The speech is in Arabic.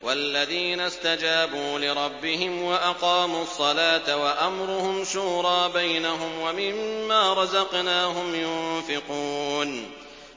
وَالَّذِينَ اسْتَجَابُوا لِرَبِّهِمْ وَأَقَامُوا الصَّلَاةَ وَأَمْرُهُمْ شُورَىٰ بَيْنَهُمْ وَمِمَّا رَزَقْنَاهُمْ يُنفِقُونَ